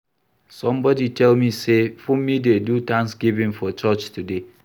Somebody tell me say Funmi dey do thanksgiving for church today